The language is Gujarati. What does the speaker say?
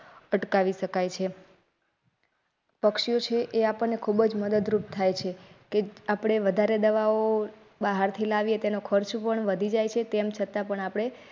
અટકાવી શકાય છે પક્ષી ઓ છે એ આપણને ખૂબ જ મદદરૂપ થાય છે. કે આપણે વધારે દવાઓ બહારથી લાવીએ તેનો ખર્ચ પણ વધી જાય છે. તેમ છતાં પણ આપણે.